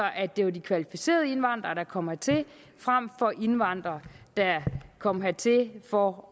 det var de kvalificerede indvandrere der kom hertil frem for indvandrere der kom hertil for